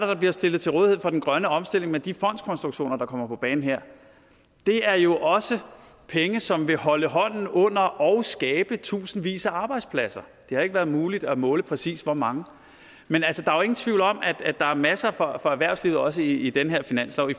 der bliver stillet til rådighed for den grønne omstilling med de fondskonstruktioner der kommer på banen her det er jo også penge som vil holde hånden under og skabe tusindvis af arbejdspladser det har ikke været muligt at måle præcis hvor mange men altså der ingen tvivl om at der er masser for erhvervslivet også i den her finanslov i